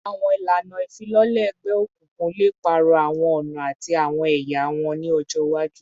Awọn ilana ifilọlẹ egbeokunkun le paarọ awọn ọna ati awọn ẹya wọn ni ọjọ iwaju